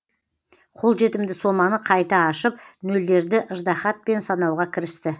қолжетімді соманы қайта ашып нөлдерді ыждағатпен санауға кірісті